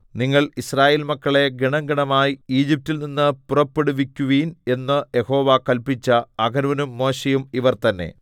നിങ്ങൾ യിസ്രായേൽ മക്കളെ ഗണംഗണമായി ഈജിപ്റ്റിൽ നിന്ന് പുറപ്പെടുവിക്കുവിൻ എന്ന് യഹോവ കല്പിച്ച അഹരോനും മോശെയും ഇവർ തന്നെ